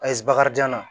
Ayi bakarijan na